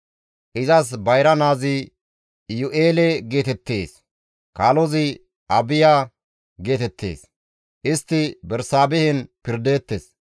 Izas bayra naazi Iyu7eele geetettees; kaalozi Abiya geetettees; istti Bersaabehen pirdeettes.